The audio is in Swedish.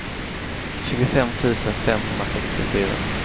tjugofem tusen femhundrasextiofyra